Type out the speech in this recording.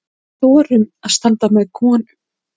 Þorum að standa með konum.